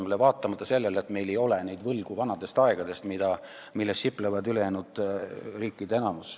Ja seda vaatamata sellele, et meil ei ole vanadest aegadest võlgu, milles sipleb enamik teisi riike.